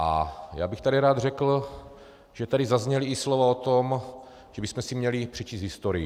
A já bych tady rád řekl, že tady zazněla i slova o tom, že bychom si měli přečíst historii.